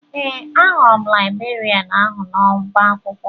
Ee, ahụrụ m laịbrerịan ahụ n'ọba akwụkwọ